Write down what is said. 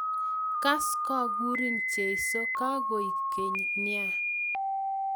Kas kokurin Jesu kakoek keny nea